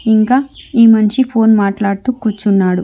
ఇంకా ఈ మనిషి ఫోన్ మాట్లాడుతూ కూర్చున్నాడు.